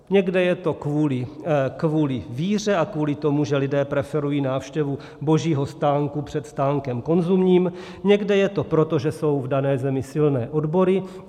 Někde je to kvůli víře a kvůli tomu, že lidé preferují návštěvu Božího stánku před stánkem konzumním, někde je to proto, že jsou v dané zemi silné odbory.